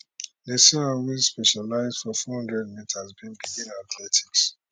nasear wey specialise for 400 metres bin begin athletics